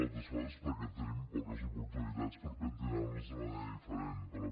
altres coses perquè tenim poques oportunitats per pentinar nos d’una manera diferent però